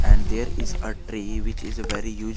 And there is a tree which is very huge.